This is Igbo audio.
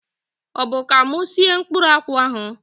Ọbụ ka mụ sie mkpụrụ akwụ ahụ?